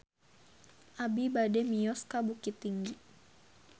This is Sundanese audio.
Abi bade mios ka Bukittinggi